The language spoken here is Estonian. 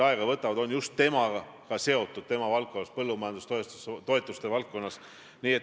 Siin saalis on lausa suure loosungina kõhu peal kõlanud üleskutse, et Eestis on sõna vaba.